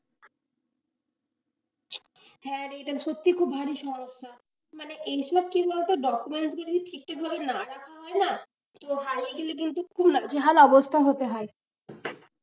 হ্যাঁ রে এটা সত্যিই খুব ভারী সমস্যা মানে এইসব কি বলতো documents যদি ঠিক ঠিক ভাবে না রাখা হয় না, তো হারিয়ে গেলে খুব নাজেহাল অবস্থা হতে হয়।